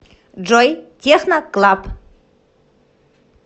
джой техно клаб